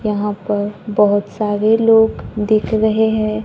यहां पर बहोत सारे लोग दिख रहे हैं।